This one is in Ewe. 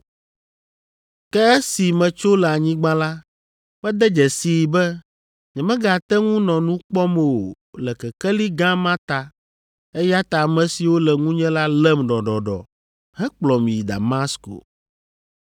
“Ke esi metso le anyigba la, mede dzesii be nyemegate ŋu nɔ nu kpɔm o le kekeli gã ma ta eya ta ame siwo le ŋunye la lém ɖɔɖɔɖɔ hekplɔm yi Damasko.